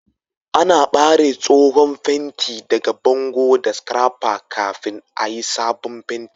Ana bare tsohon fenti daga bangon da scrapper kafin a yi'sabon penti.